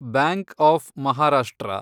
bank of Maharashtra